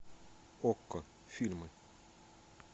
окко фильмы